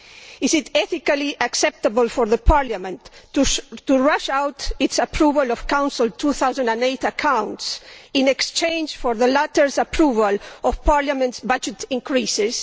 Is it ethically acceptable for Parliament to rush out its approval of the Council's 2008 accounts in exchange for the latter's approval of Parliament's budget increases?